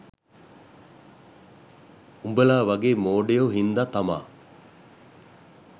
උඹලා වගේ මෝඩයෝ හින්දා තමා